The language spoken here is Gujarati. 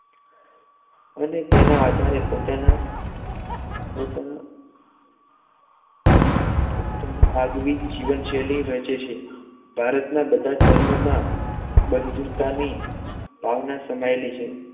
એના આધારે પોતાના પોતાના પોતાના આગવી જીવનશૈલી રચે છે ભારતના બધા ધર્મમાં બંધુતાની ભાવના સમાયેલી છે